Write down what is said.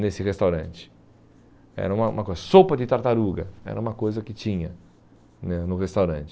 nesse restaurante, era uma uma coisa, sopa de tartaruga, era uma coisa que tinha né no restaurante